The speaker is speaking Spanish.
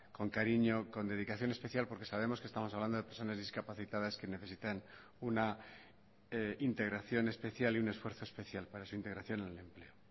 con cariño con dedicación especial porque sabemos que estamos hablando de personas discapacitadas que necesitan una integración especial y un esfuerzo especial para su integración en el empleo